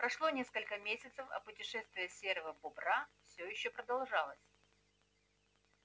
прошло несколько месяцев а путешествие серого бобра всё ещё продолжалось